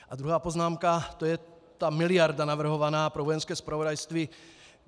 A druhá poznámka, to je ta miliarda navrhovaná pro Vojenské zpravodajství.